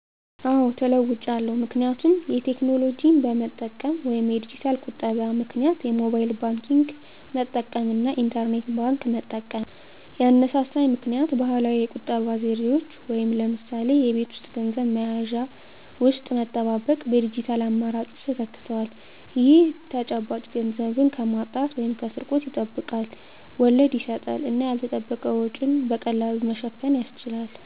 አዎ ተለዉጫለሁ ምክንያቱም የቴክኖሎጂ በመጠቀም (የዲጂታል ቁጠባ) -ምክንያት የሞባይል ባንክንግ መጠቀም እና የኢንተርኔት ባንክ መጠቀም። ያነሳሳኝ ምክኒያት ባህላዊ የቁጠባ ዘዴዎች (ለምሳሌ በቤት ውስጥ ገንዘብ መያዣ ውስጥ መጠባበቅ) በዲጂታል አማራጮች ተተክተዋል። ይህ ተጨባጭ ገንዘብን ከማጣት/ስርቆት ያስጠብቃል፣ ወለድ ይሰጣል እና ያልተጠበቀ ወጪን በቀላሉ ለመሸፈን ያስችላል።